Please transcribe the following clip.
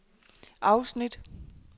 afsnit